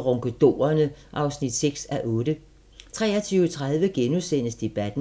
Ronkedorerne (6:8) 23:30: Debatten *